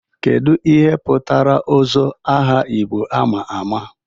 Kedu ihe pụtara Ozo, aha Igbo ama ama?